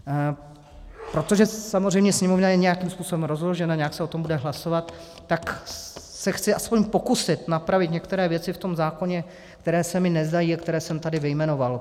Protože samozřejmě Sněmovna je nějakým způsobem rozložena, nějak se o tom bude hlasovat, tak se chci aspoň pokusit napravit některé věci v tom zákoně, které se mi nezdají a které jsem tady vyjmenoval.